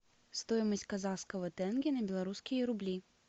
стоимость казахского тенге на белорусские рубли